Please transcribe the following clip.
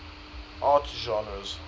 art genres